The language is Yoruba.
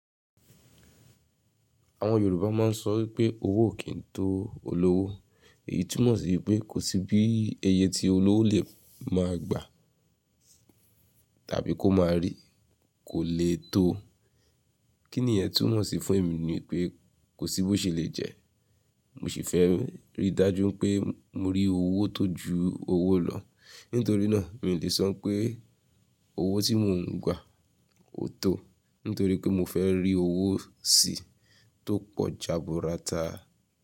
Àwọn Yorùbá máa ń sọ wípé owó o kì í n tó olówó. Èyí túmọ̀ sí pé kò sí bí eye tí olówó lè máa gbà tàbí kó máa rí, kò lè tó. Kí nìyẹn túmọ̀ sí fún èmi ni pé kò sí bó ṣe lè jẹ. Mo sì fẹ́ rí dájú pé mo rí owó tó ju owó lọ. Nítorí náà mi lè sọ n pé owó tí mò ń gbà óo tó, nítorí pé mo fẹ́ rí owó sí tó pọ̀ jaburata.